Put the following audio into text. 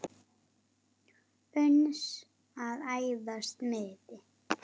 uns að æðsta miði